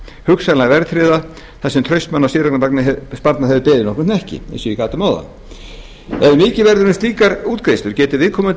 hugsanlega verðtryggða þar sem traust manna á séreignarsparnaði hefur beðið nokkurn hnekki eins og ég gat um áðan ef mikið verður um slíkar útgreiðslur getur viðkomandi